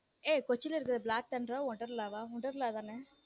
ஏய் கொச்சின்ல இருக்கிறத black thunder wonderla வா wonderla தானே.